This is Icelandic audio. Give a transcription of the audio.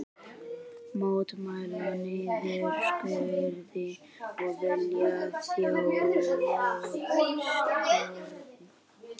Mótmæla niðurskurði og vilja þjóðstjórn